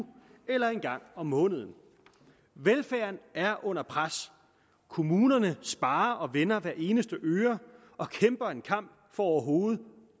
eller en gang om måneden velfærden er under pres kommunerne sparer og vender hver eneste øre og kæmper en kamp for overhovedet